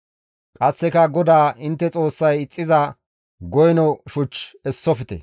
Qasseka GODAA intte Xoossay ixxiza goyno shuch essofte.